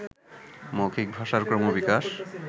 মৌখিক ভাষার ক্রমবিকাশ